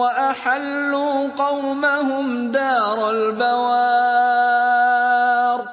وَأَحَلُّوا قَوْمَهُمْ دَارَ الْبَوَارِ